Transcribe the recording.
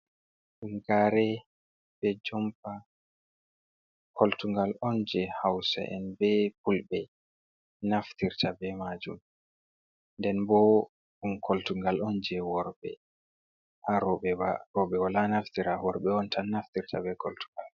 Ɗum gare be jompa koltungal on je hausa'en be fulɓe naftirta be majum. Nden bo ɗum koltungal on je worɓe na roɓe ba. Roɓe wala naftira worɓe on tan naftirta be koltungal.